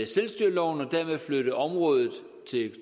selvstyreloven og dermed flytte området